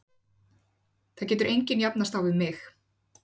Það getur enginn jafnast á við mig.